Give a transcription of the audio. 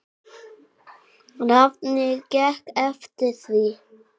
Námið gekk eftir því.